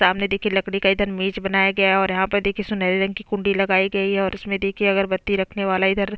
सामने देखिये लकड़ी का इधर बनाया गया है और यहाँ पर देखिये सुनहरे रंग की कुंडी लगाई गई है और उसमें देखी अगरबत्ती रखने वाला इधर--